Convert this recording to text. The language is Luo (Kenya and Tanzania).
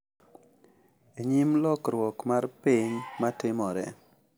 E nyim lokruok mar piny matimore.